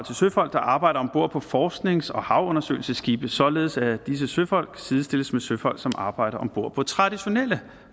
til søfolk der arbejder om bord på forsknings og havundersøgelsesskibe således at disse søfolk sidestilles med søfolk som arbejder om bord på traditionelle